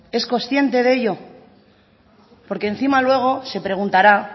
es consciente de ello porque encima luego se preguntará